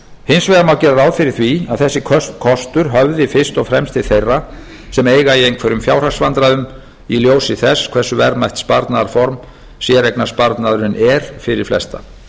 hins vegar má gera ráð fyrir því að þessi kostur höfði fyrst og fremst til þeirra sem eiga í einhverjum fjárhagsvandræðum í ljósi þess hversu verðmætt sparnaðarform séreignarsparnaðurinn er fyrir flesta